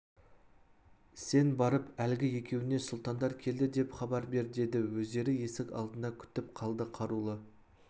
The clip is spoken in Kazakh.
сен барып әлгі екеуіне сұлтандар келді деп хабар бер деді өздері есік алдында күтіп қалды қарулы